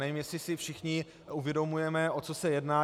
Nevím, jestli si všichni uvědomujeme, o co se jedná.